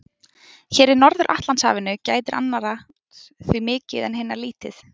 Hér í Norður-Atlantshafinu gætir annarrar því mikið en hinnar lítið.